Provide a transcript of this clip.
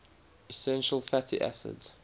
essential fatty acids